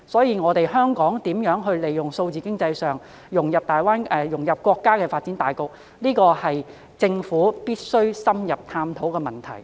因此，香港如何利用數字經濟融入國家發展大局，是特區政府必須深入探討的課題。